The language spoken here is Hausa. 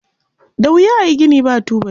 Da wuya a yi gini ba tubali.